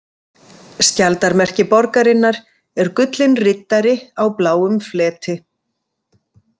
Skjaldarmerki borgarinnar er gullinn riddari á bláum fleti.